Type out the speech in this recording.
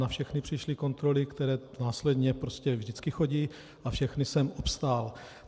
Na všechny přišly kontroly, které následně prostě vždycky chodí, a všechny jsem obstál.